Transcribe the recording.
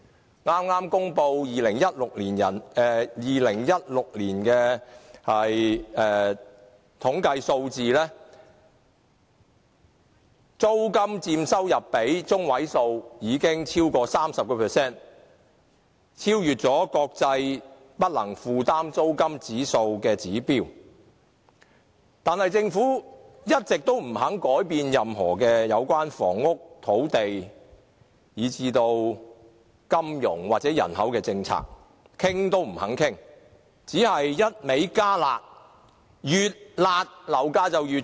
根據剛公布的2016年的統計數字，租金佔收入的百分比已超過 30%， 已超越國際不能負擔租金指數的指標，但政府一直也不肯改變任何有關房屋、土地，以至金融或人口政策，連討論也不願意，只會不斷"加辣"，但越"辣"，樓價就越高。